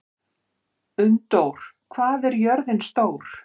Unndór, hvað er jörðin stór?